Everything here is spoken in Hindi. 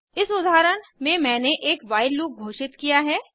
इस उदाहरण में मैंने एक व्हाइल लूप घोषित किया है